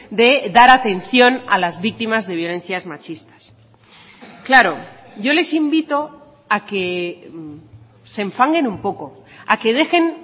de dar atención a las víctimas de violencias machistas claro yo les invito a que se enfanguen un poco a que dejen